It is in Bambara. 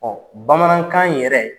Ɔ bamanankan yɛrɛ